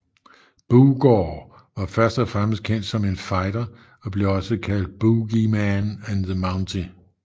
Boogaard var først og fremmest kendt som en fighter og blev også kaldt Boogeyman og The Mountie